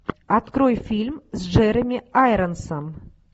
открой фильм с джереми айронсом